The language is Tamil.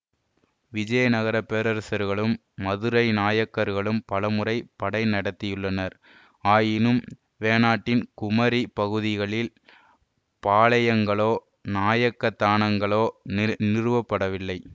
விசயநகர பேரரசர்களும் மதுரை நாயக்கர்களும் பலமுறை படை நடத்தியுள்ளனர் ஆயினும் வேணாட்டின் குமரி பகுதிகளில் பாளையங்களோ நாயக்கதானங்களோ நிற் நிறுவப்படவில்லை